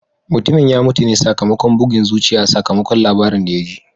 Mutumin ya mutu ne sakamakon bugun zuciya sakamakon labarin da ya ji.